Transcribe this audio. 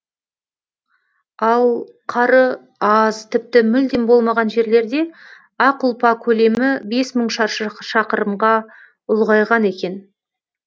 ал қары аз тіпті мүлдем болмаған жерлерде ақ ұлпа көлемі бес мың шаршы шақырымға ұлғайған екен